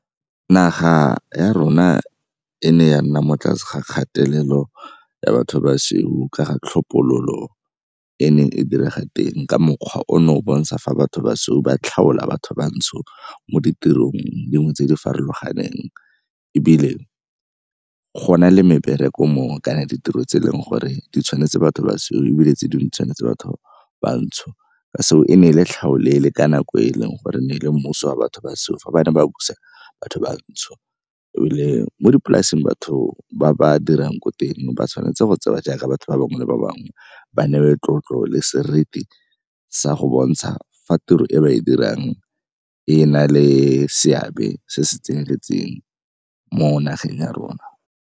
Naga ya rona e ne ya nna mo tlase ga kgatelelo ya batho ba sweu ka ga tlhophololo e neng e direga teng ka mokgwa ono o bontsha fa batho ba sweu ba tlhaola batho bantsho mo ditirong dingwe tse di farologaneng. Ebile go na le mebereko mongwe kana ditiro tse e leng gore di tshwanetse batho basweu ebile tse dingwe tshwanetse batho bantsho. So e ne e le tlhaolele ka nako e leng gore ne e le mmuso wa batho basweu fa ba ne ba busa batho bantsho. Ebile mo dipolaseng batho ba ba dirang ko teng ba tshwanetse go tsewa jaaka batho ba bangwe le ba bangwe ba newe tlotlo le seriti sa go bontsha fa tiro e ba e dirang e na le seabe se se tseneletseng mo nageng ya rona.